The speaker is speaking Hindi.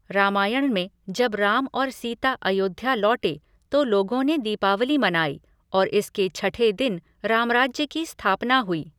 रामायण में जब राम और सीता अयोध्या लौटे तो लोगों ने दीपावली मनाई और इसके छठे दिन रामराज्य की स्थापना हुई।